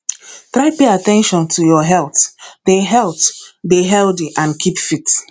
try pay at ten tion to your health dey health dey healthy and keep fit